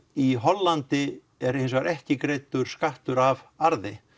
í Hollandi er ekki greiddur skattur af arði